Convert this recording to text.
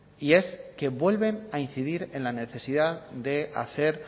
y es que vuelven a incidir en la necesidad de hacer